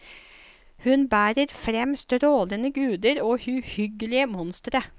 Hun bærer frem strålende guder og uhyggelige monstre.